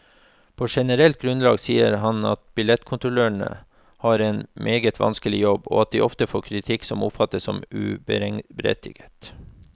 På generelt grunnlag sier han at billettkontrollørene har en meget vanskelig jobb, og at de ofte får kritikk som oppfattes som uberettiget.